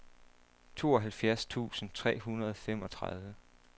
tooghalvfjerds tusind tre hundrede og femogtredive